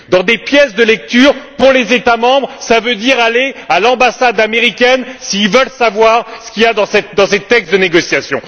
Les pièces de lecture pour les États membres, cela veut dire aller à l'ambassade américaine s'ils veulent savoir ce qu'il y a dans ces textes de négociation.